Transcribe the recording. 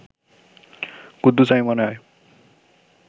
কুদ্দুস আমি মনে হয়